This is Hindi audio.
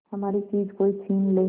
हमारी चीज कोई छीन ले